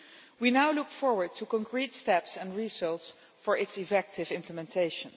We now look forward to concrete steps and results for its effective implementation.